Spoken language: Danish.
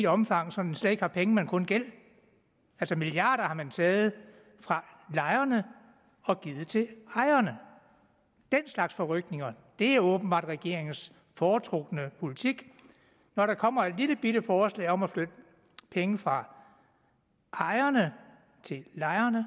omfang så den slet ikke har penge men kun gæld altså milliarder har man taget fra lejerne og givet til ejerne den slags forrykninger er åbenbart regeringens foretrukne politik når der kommer et lillebitte forslag om at flytte penge fra ejerne til lejerne